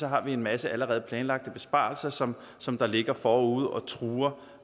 har en masse allerede planlagte besparelser som som ligger forude og truer